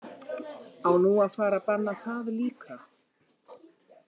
Á nú að fara að banna það líka?